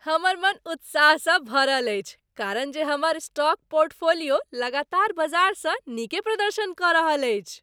हमर मन उत्साहसँ भरल अछि कारण जे हमर स्टॉक पोर्टफोलियो लगातार बजारसँ नीके प्रदर्शन कऽ रहल अछि।